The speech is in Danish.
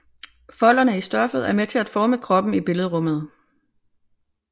Folderne i stoffet er med til at forme kroppen i billedrummet